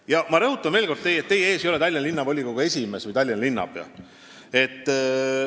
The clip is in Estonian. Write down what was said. Ja ma rõhutan veel kord, et teie ees ei ole Tallinna Linnavolikogu esimees või Tallinna linnapea.